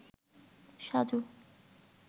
Saju